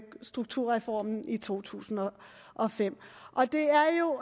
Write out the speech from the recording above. strukturreformen i to tusind og fem det er jo